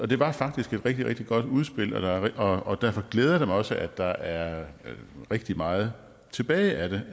det var faktisk et rigtig rigtig godt udspil og og derfor glæder det mig også at der er rigtig meget tilbage af det